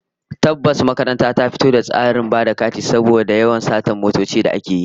Tabbas kuwa, makaranta ta fito da tsarin ba da katin shiga da fita da motoci cikin jami'a, saboda rage yawan satar motoci da ake yi